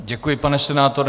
Děkuji, pane senátore.